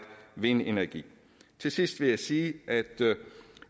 vindenergi til sidst vil jeg sige at